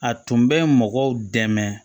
A tun bɛ mɔgɔw dɛmɛ